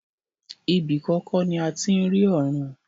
Ibi kan kọ́ ni a ti ń rí ọ̀run.